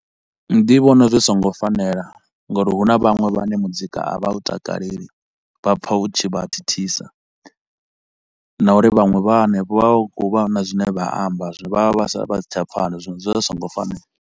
Ndi vhona zwi so ngo fanela ngauri hu na vhaṅwe vhane muzika a vha u takaleli, vha pfa u tshi vha thithisa na uri vhanwe vha hanefho vha vha khou vha na zwine vha amba zwi vha vha sa vha si tsha pfala zwino zwi vha zwi so ngo fanela